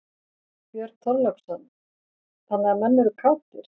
Björn Þorláksson: Þannig að menn eru kátir?